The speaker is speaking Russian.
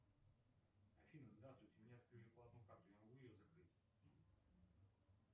афина здравствуйте мне открыли платную карту я могу ее закрыть